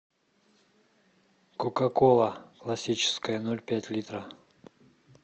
кока кола классическая ноль пять литра